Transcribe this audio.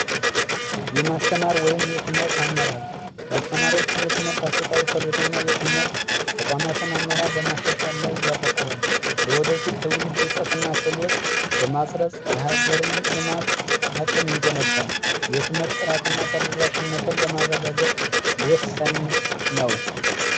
የማስተማር ወይም የትምህርት አመራር ያስተማሪዎችን የትምህርት አሰጣጥና የትምህርት ተቋማትን አመራር በማሻሻል ላይ ያተኩራል። ለወደፊት ትውልድ እውቀትና ክህሎት በማጎልበት የሀገር ልማት አቅም ይገነባል። የትምህርት ጥራትና ተደራሽነት ለማረጋገጥ ወሳኝ ነው።